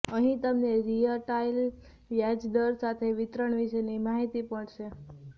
અહીં તમને રીઅલટાઇમ વ્યાજ દર સાથે વિતરણ વિશેની માહિતી મળશે